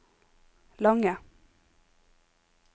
lange